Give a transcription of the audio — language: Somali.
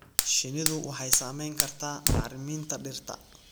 Shinnidu waxay saamayn kartaa bacriminta dhirta.